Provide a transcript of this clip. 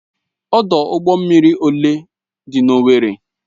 ọdụ ụgbọ mmiri ole dị n'Owerri?